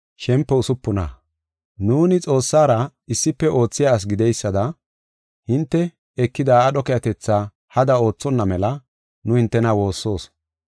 Nuuni Xoossara issife oothiya asi gideysada, hinte ekida aadho keehatetha hada oothonna mela nu hintena woossoos.